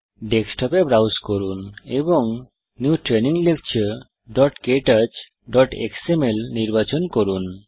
ডেস্কটপে ব্রাউজ করুন এবং নিউ ট্রেইনিং lecturektouchএক্সএমএল নির্বাচন করুন